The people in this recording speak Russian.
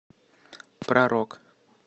про рок